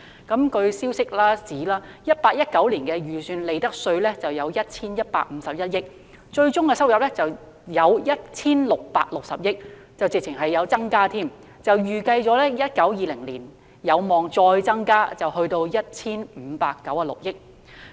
據消息人士指 ，2018-2019 年度的預算利得稅為 1,151 億元，最終收入為 1,660 億元，根本上是有所增加，並預計在 2019-2020 年度有望再增至 1,596 億元。